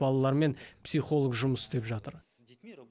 балалармен психолог жұмыс істеп жатыр